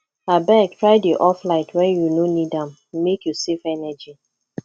abeg try dey off light wen you no need am make you save energy